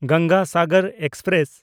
Ganga Sagar express